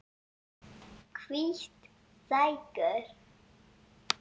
Hvít sængur